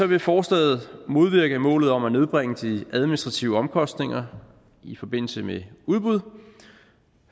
vil forslaget modvirke målet om at nedbringe de administrative omkostninger i forbindelse med udbud